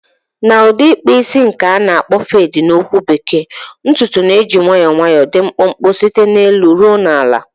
Na udi ikpu isi nke na akpo fadi na okwu bekee, ntutu na-eji nwayọọ nwayọọ dị mkpụmkpụ site n'elu ruo na ala.